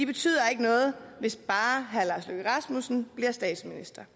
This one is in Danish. betyder ikke noget hvis bare herre lars løkke rasmussen bliver statsminister